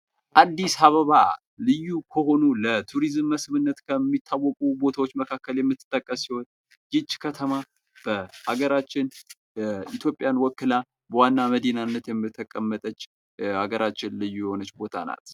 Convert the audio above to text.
አዲስ አበባ ልዩ ከሆኑ ለቱሪዝም መስህብነት ከሚታወቁ ቦታዎች መካከል የምትጠቀስ ሲሆን ይቺ ከተማ በሀገራችን ኢትዮጵያን ወክላ በዋና መዲናነት የተቀመጠች የሀገራችን ልዩ የሆነች ቦታ ናት ።